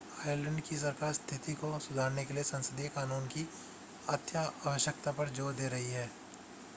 Ireland की सरकार स्थिति को सुधारने के लिए संसदीय कानून की अत्यावश्यकता पर जोर दे रही है